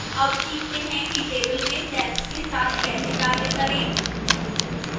अब सीखते हैं कि table में cells के साथ कैसे कार्य करें